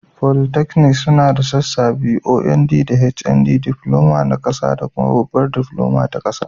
Polytechnics suna da sassa biyu, OND da HND. Karamar Diploma ta Kasa da Babbar Diploma ta Kasa.